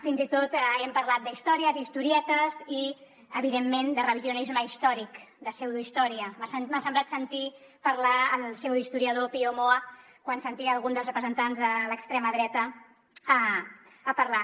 fins i tot hem parlat d’històries historietes i evidentment de revisionisme històric de pseudohistòria m’ha semblat sentir parlar el pseudohistoriador pío moa quan sentia algun dels representants de l’extrema dreta parlar